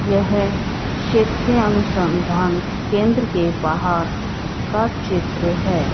यह क्षेत्री अनुसंधान केंद्र के बाहर का चित्र है।